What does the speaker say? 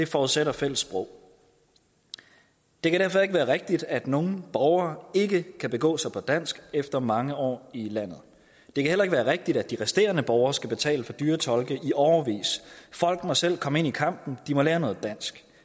forudsætter et fælles sprog det kan derfor ikke være rigtigt at nogle borgere ikke kan begå sig på dansk efter mange år i landet det kan heller ikke være rigtigt at de resterende borgere skal betale for dyre tolke i årevis folk må selv komme ind i kampen de må lære noget dansk